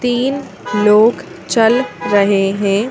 तीन लोग चल रहे हैं।